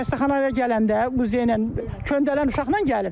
Bu xəstəxanaya gələndə bu ilə köndələn uşaqla gəlib.